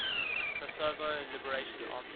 kosovo liberation army